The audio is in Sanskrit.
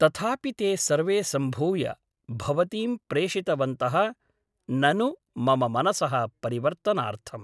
तथापि ते सर्वे सम्भूय भवतीं प्रेषितवन्तः ननु मम मनसः परिवर्तनार्थम् ?